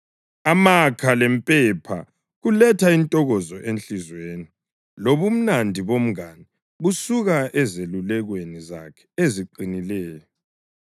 Amakha lempepha kuletha intokozo enhliziyweni, lobumnandi bomngane busuka ezelulekweni zakhe eziqinileyo.